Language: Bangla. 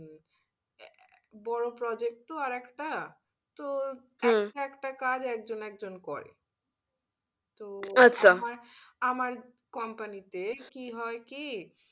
বড়ো project তো আর একটা তো একটা কাজ একজন একজন করে, আমার আমার company তে কি হয় কি, "